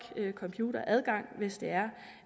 computeradgang hvis det er